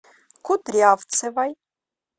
кудрявцевой